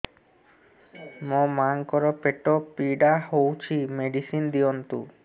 ମୋ ମାଆଙ୍କର ପେଟ ପୀଡା ହଉଛି ମେଡିସିନ ଦିଅନ୍ତୁ